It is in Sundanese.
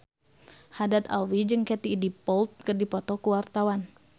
Haddad Alwi jeung Katie Dippold keur dipoto ku wartawan